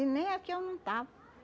E nem aqui eu não estava.